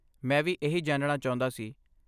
ਮੈਂ ਵੀ ਇਹੀ ਜਾਣਨਾ ਚਾਹੁੰਦਾ ਸੀ।